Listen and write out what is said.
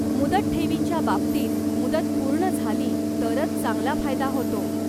मुदत ठेवींच्या बाबतीत मुदत पूर्ण झाली तरच चांगला फायदा होतो.